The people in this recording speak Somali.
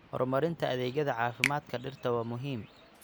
Horumarinta adeegyada caafimaadka dhirta waa muhiim.